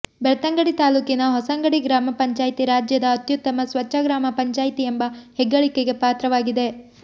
ಬೆಳ್ತಂಗಡಿ ತಾಲ್ಲೂಕಿನ ಹೊಸಂಗಡಿ ಗ್ರಾಮ ಪಂಚಾಯಿತಿ ರಾಜ್ಯದ ಅತ್ಯುತ್ತಮ ಸ್ವಚ್ಛ ಗ್ರಾಮ ಪಂಚಾಯಿತಿ ಎಂಬ ಹೆಗ್ಗಳಿಕೆಗೆ ಪಾತ್ರವಾಗಿದೆ